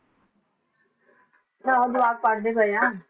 ਹਾਂ ਜਵਾਕ ਪੜ੍ਹਦੇ ਪਏ ਆ